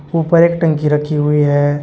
ऊपर एक टंकी रखी हुई है।